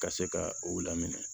Ka se ka u laminɛ